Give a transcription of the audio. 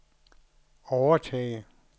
overtage